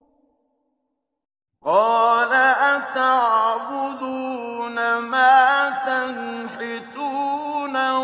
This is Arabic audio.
قَالَ أَتَعْبُدُونَ مَا تَنْحِتُونَ